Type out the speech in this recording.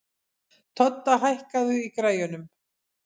Todda, hækkaðu í græjunum.